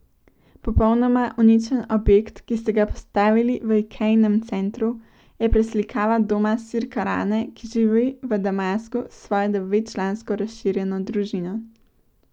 Popolnoma uničen objekt, ki ste ga postavili v Ikejinem centru, je preslikava doma Sirke Rane, ki živi v Damasku s svojo devetčlansko razširjeno družino.